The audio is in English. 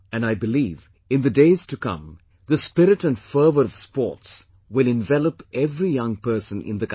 And I believe, in the days to come, the spirit and fervor of sports will envelop every young person in the country